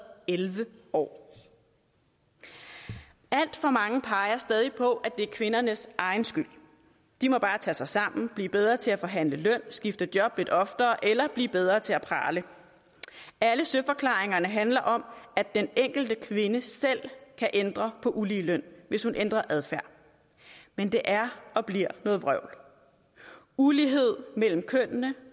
og elleve år alt for mange peger stadig på at det i kvindernes egen skyld de må bare tage sig sammen blive bedre til at forhandle løn skifte job lidt oftere eller blive bedre til at prale alle søforklaringerne handler om at den enkelte kvinde selv kan ændre på den ulige løn hvis hun ændrer adfærd men det er og bliver noget vrøvl ulighed mellem kønnene